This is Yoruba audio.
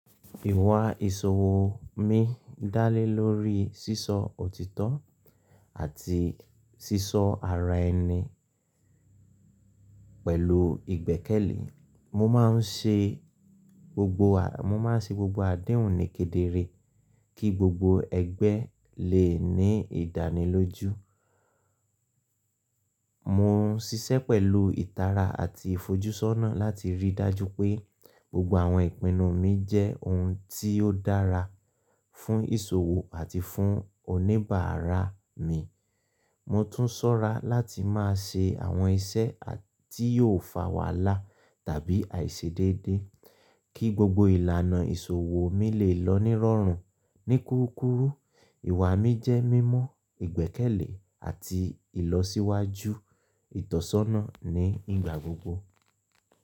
Ìwà ìṣòwò mi dá lé lórí sísọ òtítọ́ àti sísọ àrà ẹni pẹ̀lú ìgbẹ́kẹ̀lé. Mo máa ń ṣe gbogbo adéhùn ní kedere kí gbogbo ẹgbẹ́ lè ní ìdánilójú. Mo ń ṣiṣẹ́ pẹ̀lú ìtara àti ìfojúsọ́nà láti ríi dájú pé gbogbo àwọn ìpinnu mi jẹ́ ohun tí ó dára fún ìṣòwò àti fún oníbàárà mi. Mo tún ṣọ́ra láti má ṣe àwọn iṣẹ́ tí yóò fà wàhálà tàbí àìṣedédé kí gbogbo ìlànà ìṣòwò mi lè lọ ní rọrùn. Ní kúrúkùrù, ìwà mi jẹ́ mímọ̀, ìgbẹ́kẹ̀lé àti ìlọsíwájú ìtọ́sọ́nà ní ìgbà gbogbo.